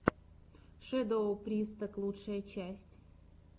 шэдоу присток лучшая часть